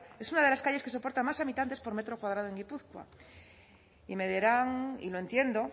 es una de las calles que soportan más habitantes por metro cuadrado en guipúzcoa y me dirán y lo entiendo